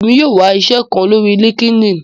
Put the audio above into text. Èmi yóò wá iṣẹ kán lórí linkedin